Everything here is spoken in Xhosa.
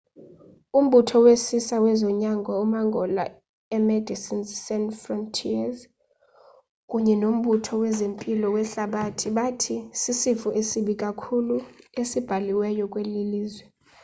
umbutho wesisa wezonyango umangola imedecines sans frontieres kunye nombutho wezempilo wehlabathi bathi sisifo esibi kakhulu esibhaliweyo kweli lizwe